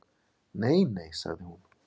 Nei, nei sagði hún.